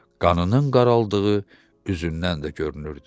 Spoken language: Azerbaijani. Qanının qaraldığı üzündən də görünürdü.